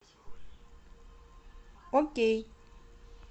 окей